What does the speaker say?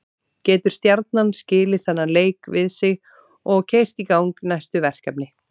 Getur Stjarnan skilið þennan leik við sig og keyrt í gang næstu verkefni?